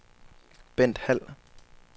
Bent Hald